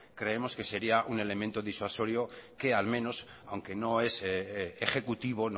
creemos que sería un elemento disuasorio que al menos aunque no es ejecutivo